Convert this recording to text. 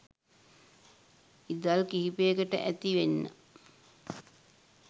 ඉදල් කිහිපයකට ඇති වෙන්න